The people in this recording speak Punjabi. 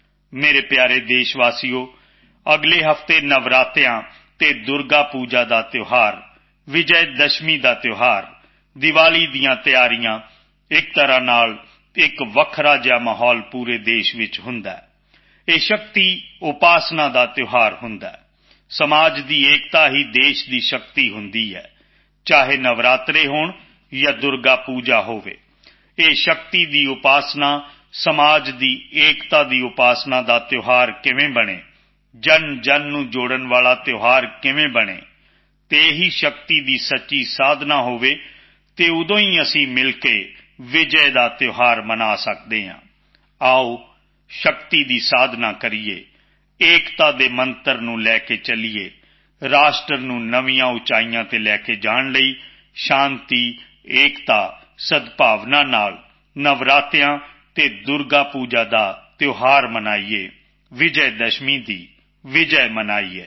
ਮੇਰੇ ਪਿਆਰੇ ਦੇਸ਼ਵਾਸੀਓ ਅਗਲੇ ਹਫ਼ਤੇ ਨਵਰਾਤ੍ਰੇ ਅਤੇ ਦੁਰਗਾ ਪੂਜਾ ਦਾ ਤਿਓਹਾਰ ਦੁਸਹਿਰੇ ਦਾ ਤਿਓਹਾਰ ਦੀਵਾਲੀ ਦੀਆਂ ਤਿਆਰੀਆਂ ਇੱਕ ਪ੍ਰਕਾਰ ਨਾਲ ਅਲੱਗ ਜਿਹਾ ਮਾਹੌਲ ਪੂਰੇ ਦੇਸ਼ ਵਿੱਚ ਹੁੰਦਾ ਹੈ ਇਹ ਸ਼ਕਤੀ ਉਪਾਸਨਾ ਦਾ ਤਿਓਹਾਰ ਹੁੰਦਾ ਹੈ ਸਮਾਜ ਦੀ ਏਕਤਾ ਹੀ ਦੇਸ਼ ਦੀ ਸ਼ਕਤੀ ਹੁੰਦੀ ਹੈ ਚਾਹੇ ਨਵਰਾਤ੍ਰੇ ਹੋਣ ਜਾਂ ਦੁਰਗਾ ਪੂਜਾ ਹੋਵੇ ਇਹ ਸ਼ਕਤੀ ਦੀ ਉਪਾਸਨਾ ਹੈ ਸਮਾਜ ਦੀ ਏਕਤਾ ਦੀ ਉਪਾਸਨਾ ਦਾ ਤਿਓਹਾਰ ਕਿਵੇਂ ਬਣੇ ਜਨਜਨ ਨੂੰ ਜੋੜਨ ਵਾਲ ਤਿਓਹਾਰ ਕਿਵੇਂ ਬਣੇ ਅਤੇ ਉਹ ਹੀ ਸੱਚੀ ਸ਼ਕਤੀ ਦੀ ਸਾਧਨਾ ਹੋਵੇ ਅਤੇ ਤਾਂ ਜਾ ਕੇ ਅਸੀਂ ਮਿਲ ਕੇ ਵਿਜੈ ਦਾ ਤਿਓਹਾਰ ਮਨਾ ਸਕਦੇ ਹਾਂ ਆਓ ਸ਼ਕਤੀ ਦੀ ਸਾਧਨਾ ਕਰੀਏ ਏਕਤਾ ਦੇ ਮੰਤਰ ਨੂੰ ਲੈ ਕੇ ਚਲੀਏ ਰਾਸ਼ਟਰ ਨੂੰ ਨਵੀਆਂ ਉਚਾਈਆਂ ਤੇ ਲੈ ਕੇ ਜਾਣ ਲਈ ਸ਼ਾਂਤੀ ਏਕਤਾ ਸਦਭਾਵਨਾ ਨਾਲ ਨਵਰਾਤ੍ਰੇ ਅਤੇ ਦੁਰਗਾ ਪੂਜਾ ਦਾ ਤਿਓਹਾਰ ਮਨਾਈਏ ਵਿਜੈਦਸ਼ਮੀ ਦੀ ਵਿਜੈ ਮਨਾਈਏ